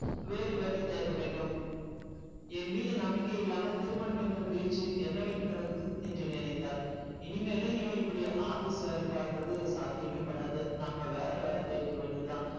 வேறு வேலை தேட வேண்டும் என் மீது நம்பிக்கை இல்லாமல் திருமணம் என்று பேச்சு என்ன வேண்டி கிடைக்குது என்று நினைத்தால் இனிமேலும் இப்படி office வேல பாக்குறது சாத்தியமே படாது நம்ப வேற வேல தேடிக்க வேண்டியது தான்